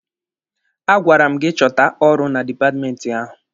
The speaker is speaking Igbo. A gwara m gị chọta ọrụ na dipatmenti ahụ!